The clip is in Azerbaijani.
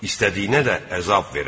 İstədiyinə də əzab verər.